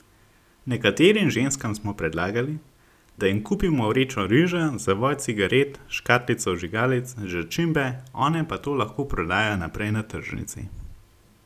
Nekaterim ženskam smo predlagali, da jim kupimo vrečo riža, zavoj cigaret, škatlico vžigalic, začimbe, one pa to lahko prodajo naprej na tržnici.